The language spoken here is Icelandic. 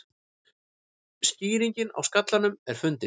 Skýringin á skallanum fundin